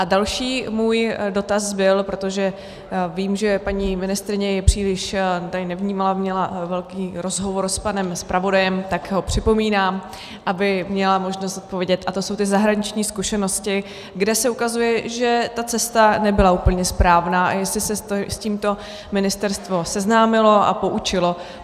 A další můj dotaz byl, protože vím, že paní ministryně mě příliš tady nevnímala, měla velký rozhovor s panem zpravodajem, tak ho připomínám, aby měla možnost odpovědět, a to jsou ty zahraniční zkušenosti, kde se ukazuje, že ta cesta nebyla úplně správná, a jestli se s tímto ministerstvo seznámilo a poučilo.